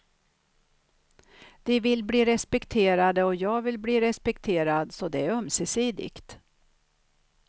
De vill bli respekterade och jag vill bli respekterad, så det är ömsesidigt.